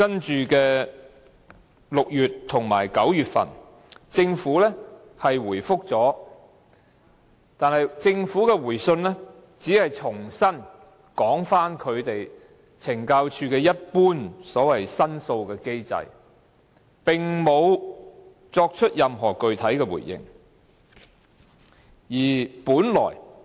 在6月和9月份，政府作出回覆，但政府的回信只是重申懲教署一般所謂申訴的機制，並無作出任何具體回應。